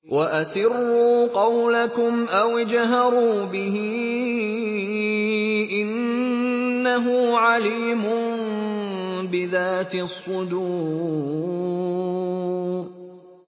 وَأَسِرُّوا قَوْلَكُمْ أَوِ اجْهَرُوا بِهِ ۖ إِنَّهُ عَلِيمٌ بِذَاتِ الصُّدُورِ